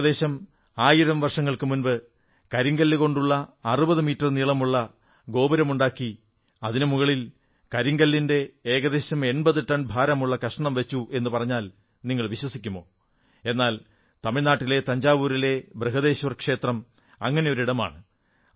ഏകദേശം ആയിരം വർഷങ്ങൾക്കു മുമ്പ് കരിങ്കല്ലുകൊണ്ടുള്ള 60 മീറ്റർ നീളമുള്ള ഒരു തൂണുണ്ടാക്കി അതിനുമുകളിൽ കരിങ്കല്ലിന്റെ ഏകദേശം 80 ടൺ ഭാരമുള്ള കഷണം വച്ചു എന്നു പറഞ്ഞാൽ നിങ്ങൾ വിശ്വസിക്കുമോ എന്നാൽ തമിഴ്നാട്ടിലെ തഞ്ചാവൂരിലെ ബൃഹദേശ്വര ക്ഷേത്രം അങ്ങനെയൊരിടമാണ്